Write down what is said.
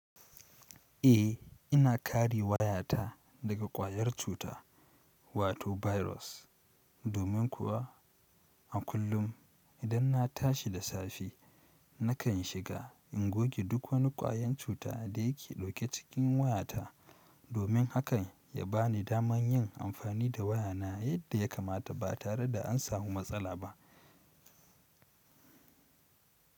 Eh, ina kare wayata daga ƙwayar cuta, wato bairos domin kuwa a kullum idan na tashi da safe nakan shiga in goge duk wani ƙwayan cuta da yake ɗauke cikin wayata domin hakan ya bani daman yin amfani da wayaaa yadda ya kamata, ba tareda an samu matsala ba.